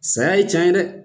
Saya ye can ye dɛ